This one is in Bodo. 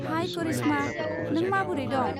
हाइ कारिशमा, नों माबोरै दं?